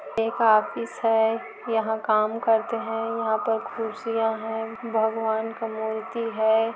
एक ऑफिस है यहां काम करते हैं यहां पर कुर्सीया हैं भगवान का मूर्ति है।